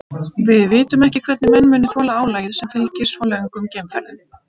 Við vitum ekki hvernig menn muni þola álagið sem fylgir svo löngum geimferðum.